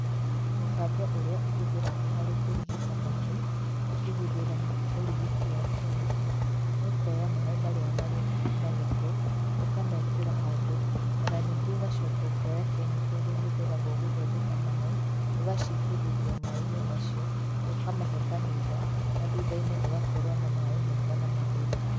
Mũbango ũrĩa ũhũthĩragwo harĩ kũrigĩta maĩ, ũkĩhũthĩra ũrigiti wa kemiko nĩ ũkoya maĩ marĩa marĩ na gĩko, ũkamekĩra handũ ona ningĩ ũgacoka ũkoya kemiko irĩa ihũthĩragwo gũthondeka maĩ, ũgacitĩrĩria maĩ-inĩ macio, ũkamahe kahinda na thutha-inĩ ũgakorwo na maĩ mega na matheru.